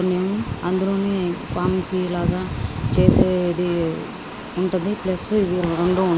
అందులోని ఫార్మసీ లాగా చేసేది ఉంటది ప్లస్ ఇది రెండు ఉన్నది.